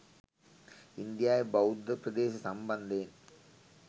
ඉන්දියාවේ බෞද්ධ ප්‍රදේශ සම්බන්ධයෙන්